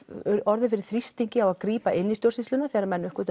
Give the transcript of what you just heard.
orðið fyrir þrýstingi að grípa inn í stjórnsýsluna þegar menn